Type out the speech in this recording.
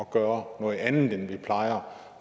gøre noget andet end vi plejer